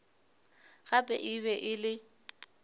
gape e be e le